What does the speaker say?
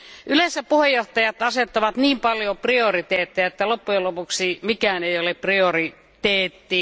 Yleensä puheenjohtajat asettavat niin paljon prioriteetteja, että loppujen lopuksi mikään ei ole prioriteetti.